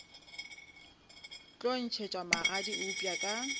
tlo ntšhetšwa magadi eupša ka